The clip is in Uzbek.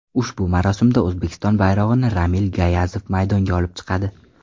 Ushbu marosimda O‘zbekiston bayrog‘ini Ramil Gayazov maydonga olib chiqadi .